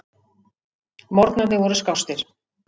Morgnarnir voru skástir.